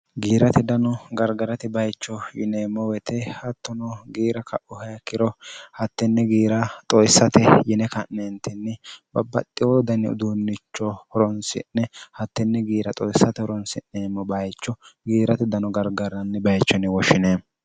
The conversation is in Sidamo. Giiratte dano garigaratte baayicho yinnemo woyite hattono giira kauro ikkiro hattene giira xoosatte yine ka'netinni babbaxino Dani uddunicho horonisinne hattene giira xoosatte horonisinnemo baayicho giiratte dano garigarani baayichu yine horonisinnemo